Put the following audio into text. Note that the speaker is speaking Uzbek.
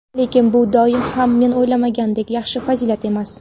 Lekin bu doim ham men o‘ylaganimdek "yaxshi" fazilat emas.